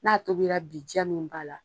N'a tobira bi diya min b'a la